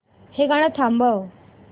हे गाणं थांबव